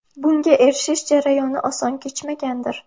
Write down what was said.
Bunga erishish jarayoni oson kechmagandir.